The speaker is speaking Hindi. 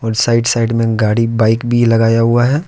साइड साइड में गाड़ी बाइक भी लगाया हुआ है।